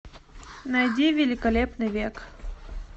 найди великолепный век